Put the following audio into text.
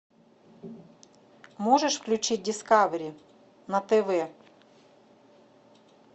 можешь включить дискавери на тв